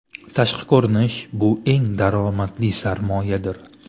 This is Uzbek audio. Tashqi ko‘rinish bu eng daromadli sarmoyadir!